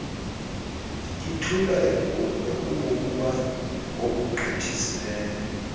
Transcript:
ithula ekunokuba kokugqithisileyo